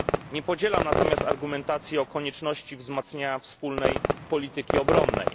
Nie podzielam argumentacji o konieczności wzmacniania wspólnej polityki obronnej.